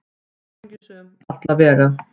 Hamingjusöm, alla vega.